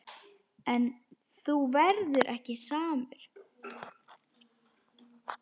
En þú verður ekki samur.